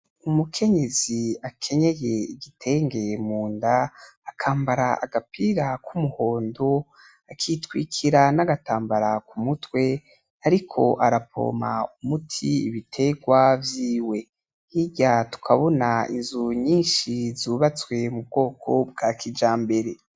Umukenyezi akenyeye igitenge munda akambara agapira k'umuhondo akitwikira n'agatambara ku mutwe ariko aravoma umuti mubitegwa vyiwe , hirya tukabona inzu nyinshi zubatswe mu bwoko bwa kijambere .